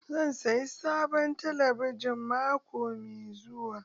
Zan sayi sabon talabijin mako mai zuwa.